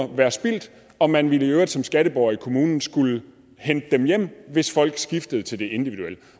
være spildt og man ville i øvrigt som skatteborger i kommunen skulle hente dem hjem hvis folk skiftede til det individuelle